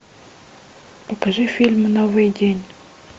покажи фильм новый день